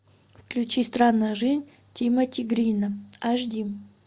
включи странная жизнь тимоти грина аш ди